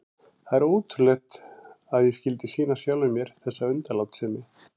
Það er ótrúlegt að ég skyldi sýna sjálfum mér þessa undanlátssemi.